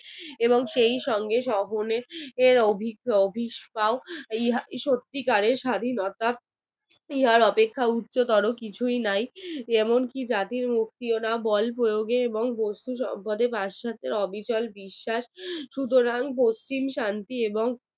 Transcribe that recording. ইহার অপেক্ষা উচ্চতর কিছু কিছুই নাই যেমন জাতির মুক্তি ও না বল প্রয়োগে এবং পাশ্চাত্যের অবিচল বিশ্বাস সুতরাং পশ্চিম শান্তি এবং